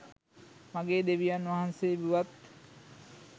මගේ දෙවියන් වහන්සේ වුවත්,